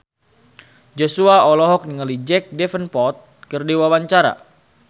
Joshua olohok ningali Jack Davenport keur diwawancara